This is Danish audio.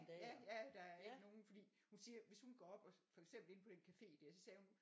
Ja ja der er ikke nogen fordi hun siger hvis hun går op og for eksempel inde på den café der så sagde hun